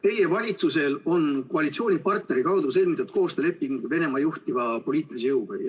Teie valitsusel on koalitsioonipartneri kaudu sõlmitud koostööleping Venemaa juhtiva poliitilise jõuga.